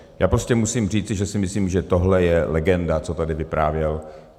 Já prostě musím říci, že si myslím, že tohle je legenda, co tady vyprávěl.